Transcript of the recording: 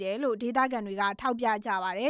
တယ်လို့ ဒေသခံတွေက ထောက်ပြကြပါတယ